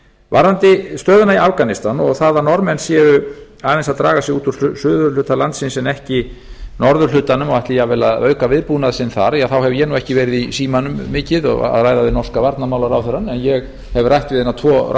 varðandi stöðuna í afganistan og það að norðmenn séu aðeins að draga sig út úr suðurhluta landsins en ekki norðurhlutanum og ætli jafnvel að auka viðbúnað sinn þar þá hef ég nú ekki verið í símanum mikið að ræða við norska varnarmálaráðherrann en ég hef rætt við eina tvo